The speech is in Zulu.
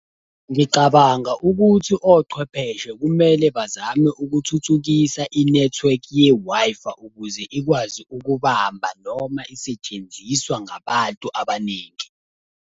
Ngicabanga ukuthi ochwepheshe kumele bazame ukuthuthukisa inethiwekhi ye-Wi-Fi, ukuze ikwazi ukubamba noma isetshenziswa ngabantu abaningi.